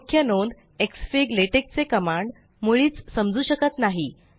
मुख्य नोंद xfig LaTeX चे कमांड मुळीच समजू शकत नाही